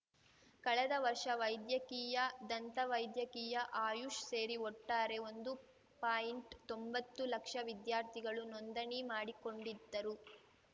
ಕಳೆದ ವರ್ಷ ವೈದ್ಯಕೀಯ ದಂತ ವೈದ್ಯಕೀಯ ಆಯುಷ್‌ ಸೇರಿ ಒಟ್ಟಾರೆ ಒಂದು ಪಾಯಿಂಟ್ತೊಂಬತ್ತು ಲಕ್ಷ ವಿದ್ಯಾರ್ಥಿಗಳು ನೋಂದಣಿ ಮಾಡಿಕೊಂಡಿದ್ದರು